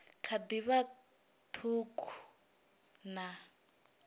kha ḓi vha ṱhukhu na